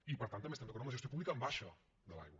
i per tant també estem d’acord amb la gestió pública en baixa de l’aigua